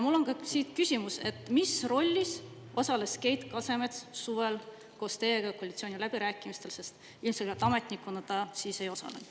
Mul on ka küsimus, mis rollis osales Keit Kasemets suvel koos teiega koalitsiooniläbirääkimistel, sest ilmselgelt ametnikuna ta siis ei osalenud.